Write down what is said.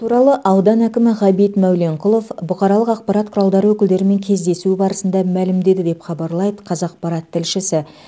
туралы аудан әкімі ғабит мәуленқұлов бұқаралық ақпарат құралдары өкілдерімен кездесуі барысында мәлімдеді деп хабарлайды қазақпарат тілшісі